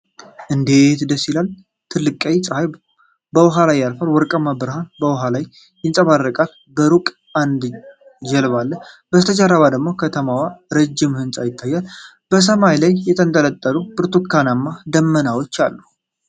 እንዴት ደስ ይላል! ትልቁ ቀይ ፀሐይ በውሃ ላይ ያርፋል፣ ወርቃማ ብርሃኑ በውሃው ላይ ይንጸባረቃል። በሩቅ አንድ ጀልባ አለ፣ ከበስተጀርባው ደግሞ ከተማዋና ረጅም ህንፃ ይታያል። በሰማይ ላይ የተንጠለጠሉ ብርቱካናማ ደመናዎች አሉ።